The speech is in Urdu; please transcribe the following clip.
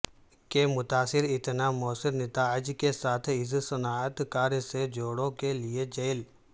کہ متاثر اتنا موثر نتائج کے ساتھ اس صنعت کار سے جوڑوں کے لئے جیل